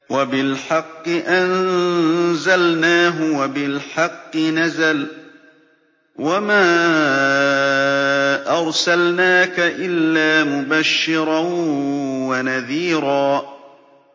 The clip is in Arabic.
وَبِالْحَقِّ أَنزَلْنَاهُ وَبِالْحَقِّ نَزَلَ ۗ وَمَا أَرْسَلْنَاكَ إِلَّا مُبَشِّرًا وَنَذِيرًا